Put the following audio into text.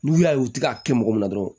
N'u y'a ye u ti k'a kɛ mɔgɔ min na dɔrɔn